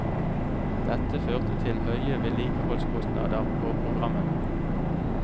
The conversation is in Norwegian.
Dette førte til høye vedlikeholdskostnader på programmene.